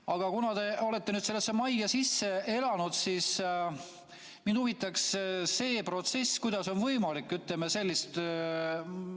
Aga kuna te olete nüüd sellesse majja sisse elanud, siis mind huvitaks, kuidas see protsess sisemiselt käib.